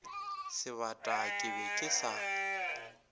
sebata ke be ke sa